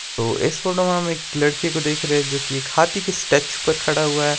तो इस फोटो मे हम एक लड़की को देख रहे है जो की एक हाथी के स्टच स्टेच्यू पर खड़ा हुआ है।